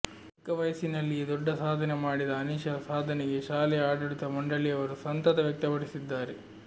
ಚಿಕ್ಕವಯಸ್ಸಿನಲ್ಲಿಯೇ ದೊಡ್ಡ ಸಾಧನೆ ಮಾಡಿದ ಅನೀಶಾ ಸಾಧನೆಗೆ ಶಾಲೆಯ ಆಡಳಿತ ಮಂಡಳಿಯವರು ಸಂಸತ ವ್ಯಕ್ತಪಡಿಸಿದ್ದಾರೆ